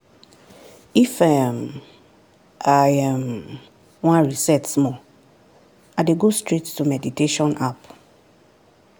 if um i um wan reset small i dey go straight to meditation app.